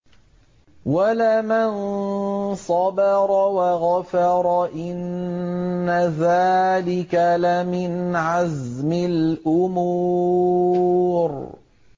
وَلَمَن صَبَرَ وَغَفَرَ إِنَّ ذَٰلِكَ لَمِنْ عَزْمِ الْأُمُورِ